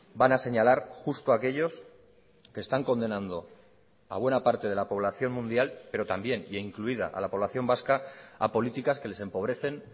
van a señalar justo aquellos que están condenando a buena parte de la población mundial pero también e incluida a la población vasca a políticas que les empobrecen